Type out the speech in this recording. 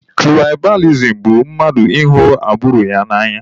Tụraịbalizim bụ mmadụ ịhụ agburu ya n'anya.